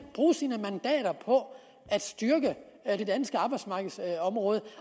bruge sine mandater på at styrke det danske arbejdsmarkedsområde